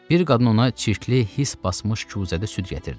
Bir qadın ona çirkli his basmış küsədə süd gətirdi.